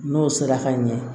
N'o sera ka ɲɛ